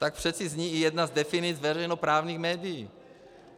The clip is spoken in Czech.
Tak přece zní i jedna z definic veřejnoprávních médií.